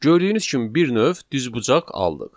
Gördüyünüz kimi bir növ düzbucaq aldıq.